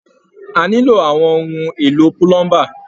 A nilo àwọn ohun èlò pulomba.